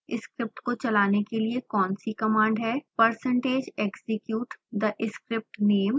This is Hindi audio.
स्क्रिप्ट को चलाने के लिए कौन सी कमांड है